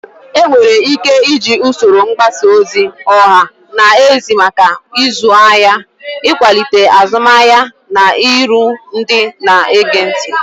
Enwere ike iji usoro mgbasa ozi ọha na eze maka ịzụ ahịa, ịkwalite azụmahịa, na iru ndị na-ege ntị.